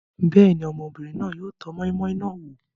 Bẹ́ẹ̀ ni, ọmọbìnrin náà yóò tọ́ moi-moi náà wò.